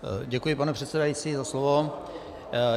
Děkuji, pane předsedající, za slovo.